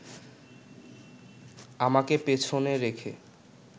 আমাকে পেছনে রেখে